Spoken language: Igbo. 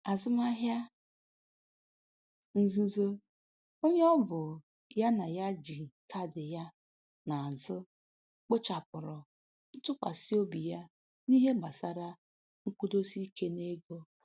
Azụmahịa nzuzo onye ọbụ ya na ya ji kaadị ya na-azụ kpochapụrụ ntụkwasị obi ya n'ihe gbasara nkwụdosike n'ego